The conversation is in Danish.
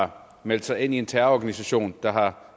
har meldt sig ind i en terrororganisation der har